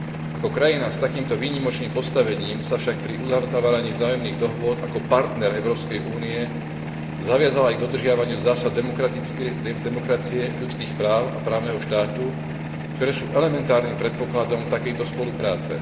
Ako krajina s takýmto výnimočným postavením sa však pri uzatváraní vzájomných dohôd ako partner Európskej únie zaviazala aj k dodržiavaniu zásad demokracie, ľudských práv a právneho štátu, ktoré sú elementárnym predpokladom takejto spolupráce.